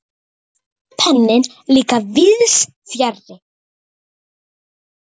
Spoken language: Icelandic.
Rauði penninn líka víðs fjarri.